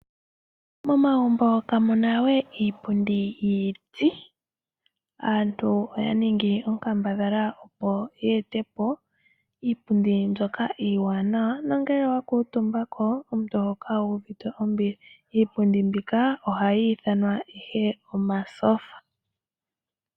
Momagumbo kamuna we iipundi yiiti , aantu oya ningi onkambadhala opo yeetepo iipundi mbyika iiwanawa, nongele owakuutumbako omuntu oho kala wuuvite ombili . Iipundi mbika ohayi ithanwa omatyofa.